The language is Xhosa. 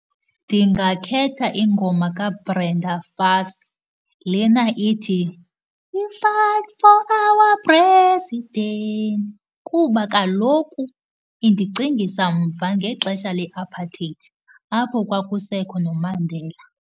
Ndingakhetha ingoma kaBrenda Fassie lena ithi, we fight for our president, kuba kaloku indicingisa mva ngexesha le-apartheid apho kwakusekho noMandela.